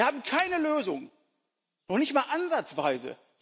Wir haben keine Lösung, noch nicht einmal ansatzweise.